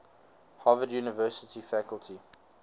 harvard university faculty